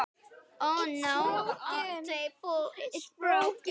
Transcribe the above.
Ég mun sakna hennar sárt.